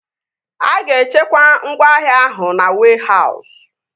A ga-echekwa ngwaahịa ahụ na wehause